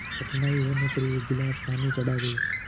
कठिनाई होने पर एक गिलास पानी चढ़ा गए